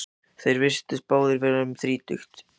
Þeir virtust báðir vera um þrítugt.